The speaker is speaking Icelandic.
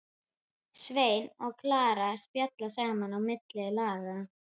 Svenni og Klara spjalla saman á milli laga.